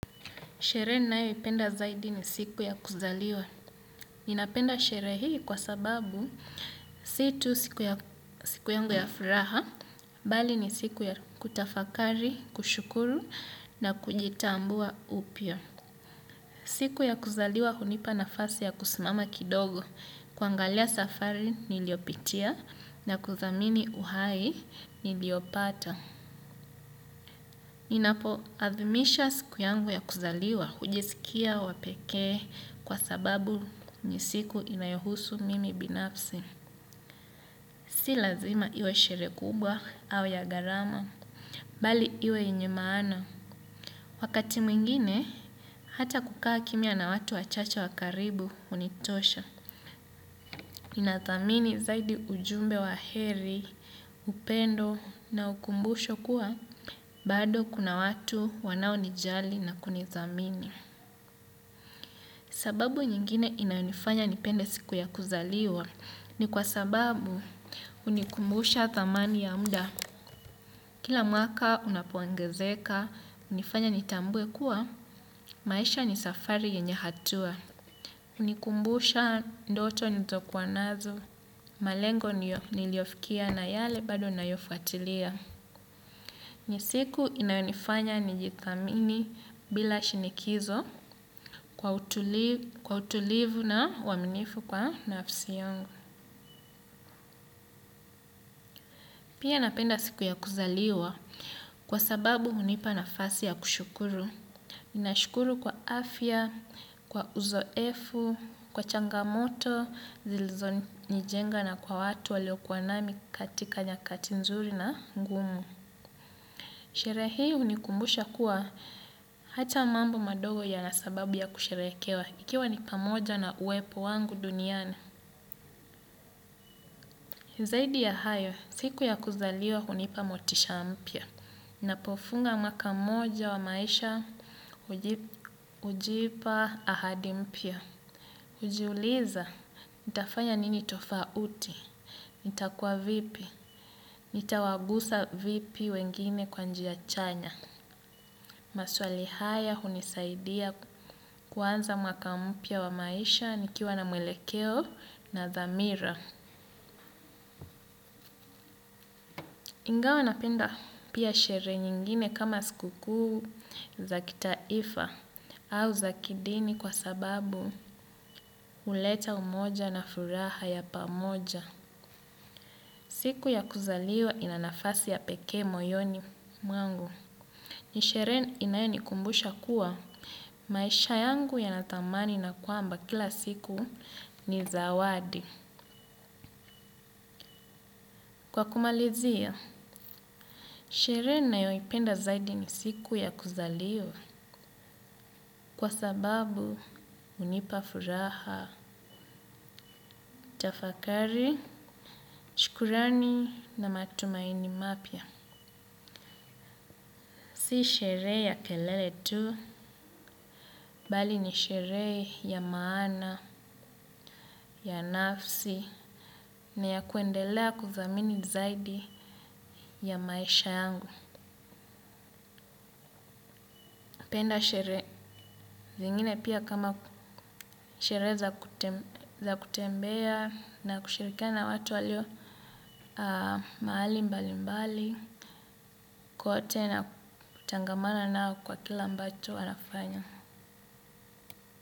Sherehe ninayoipenda zaidi ni siku ya kuzaliwa. Ninapenda sherehe hii kwa sababu situ siku yangu ya furaha, bali ni siku ya kutafakari, kushukuru na kujitambua upya. Siku ya kuzaliwa hunipa nafasi ya kusimama kidogo. Kuangalia safari niliyopitia na kuthamini uhai niliopata. Ninapo athimisha siku yangu ya kuzaliwa hujisikia wapeke kwa sababu ni siku inayohusu mimi binafsi. Si lazima iwe shereje kubwa au ya gharama, bali iwe yenye maana. Wakati mwingine, hata kukaa kimya na watu wachache wakaribu hunitosha. Inathamini zaidi ujumbe wa heri, upendo na ukumbusho kuwa, bado kuna watu wanao nijali na kunitjhamini. Sababu nyingine inayonifanya nipende siku ya kuzaliwa ni kwa sababu hunikumbusha thamani ya muda. Kila mwaka unapoongezeka, hunifanya nitambue kuwa, maisha ni safari yenye hatua. Hunikumbusha ndoto nilizo kuwa nazo, malengo niliyofikia na yale bado ninayofuatilia. Ni siku inayonifanya nijithamini bila shinikizo kwa utulivu na uaaminifu kwa nafsi yangu. Pia napenda siku ya kuzaliwa kwa sababu hunipa nafasi ya kushukuru. Nashukuru kwa afya, kwa uzoefu, kwa changamoto, zilizo nijenga na kwa watu walio kuwa nami katika nyakati nzuri na ngumu. Sherehe hii hunikumbusha kuwa ata mambo madogo yana sababu ya kusherehekewa. Ikiwa nipamoja na uwepo wangu duniani. Zaidi ya hayo, siku ya kuzaliwa hunipa motisha mpya. Ninapofunga mwaka moja wa maisha hujipa ahadi mpya. Hujiuliza, nitafanya nini tofauti, nitakuwa vipi, nitawagusa vipi wengine kwa njia chanya. Maswali haya hunisaidia kuanza mwaka mpya wa maisha nikiwa na mwelekeo na dhamira. Ingawa napenda pia sherehe nyingine kama sikuku za kitaifa au za kidini kwa sababu huleta umoja na furaha ya pamoja. Siku ya kuzaliwa inanafasi ya peke moyoni mwangu. Nisherhe inayoni kumbusha kuwa maisha yangu yanathamani na kwamba kila siku ni zawadi. Kwa kumalizia, sherhe ninayoipenda zaidi ni siku ya kuzaliwa kwa sababu hunipa furaha, tafakari, shkurani na matumaini mapya. Si sherehe ya kelele tu, bali ni sherehe ya maana, ya nafsi, na ya kuendelea kuthamini zaidi ya maisha yangu. Napenda sherehe zingine pia kama sherehe za kutembea na kushirikia na watu walio mahali mbali mbali, kote na kutangamana nao kwa kila ambacho wanafanya.